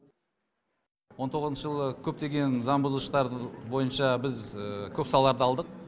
он тоғызыншы жылы көптеген заңбұзғыштар бойынша біз көп салаларды алдық